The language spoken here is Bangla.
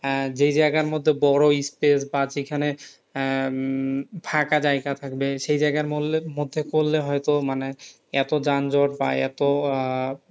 আহ যেই জায়গার মধ্যে বড় বা যেইখানে আহ ফাকা জায়গা থাকবে সেই জায়গার মল্যে মধ্যে করলে হয়তো মানে এত যানযট বা এত আহ